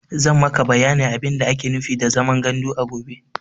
Zan maka bayanin abin da ake nufi da zaman gandu a gobe.